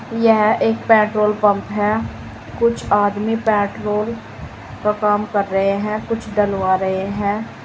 यह एक petrol pump है। कुछ आदमी पेट्रोल का काम कर रहे हैं कुछ डलवा रहे हैं।